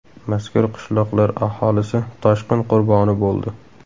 Mazkur qishloqlar aholisi toshqin qurboni bo‘ldi.